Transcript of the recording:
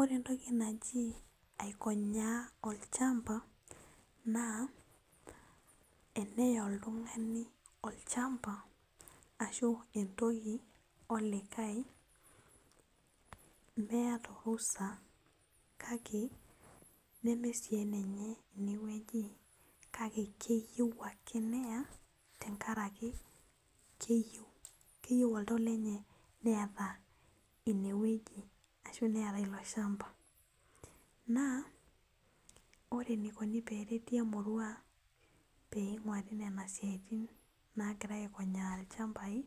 Ore entoki naji aikonyaa olchamba na eneya oltung'ani olchamba ashu entoki olikae meeta orusa. kake neme sii enenye inewueji kake keyieu ake neya tenkaraki keyieu oltau lenye neepa inewueji ashuvneeta ilo shamba na ore enikoni peripi emurua pinguari nona siatin nagirai aikonyaa lchambai